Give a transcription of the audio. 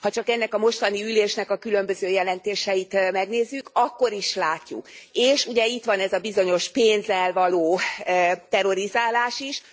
Ha csak ennek a mostani ülésnek a különböző jelentéseit megnézzük, akkor is látjuk, és ugye itt van ez a bizonyos pénzzel való terrorizálás is.